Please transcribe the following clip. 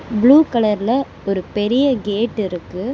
Blue கலர்ல ஒரு பெரிய கேட் இருக்கு.